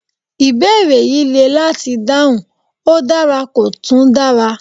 Ìbéèrè yìí le láti dáhùn, ó dára kò tún dara